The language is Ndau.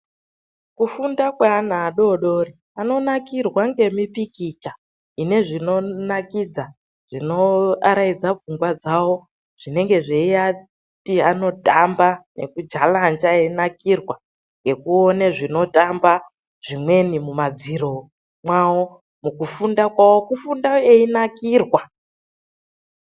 Kufunda kweana adodori ,anonakirwa ngemipikicha ine zvinodakadza nekuaraidza pfungwa dzawo. Zvinodibanisa kutamba nekujalanja veidakadzwa ngekuona zvinotamba mumadziro mwavo ,kufunda kwavo kubafunda veidakadzwa yaamho.